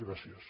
gràcies